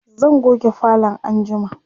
zan goge falon anjima